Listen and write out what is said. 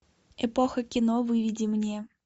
эпоха кино выведи мне